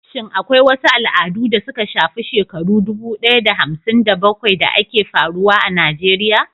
Shin akwai wasu al'adu da suka shafi shekaru dubu ɗaya da hamsin da bakwai da ke faruwa a Najeriya?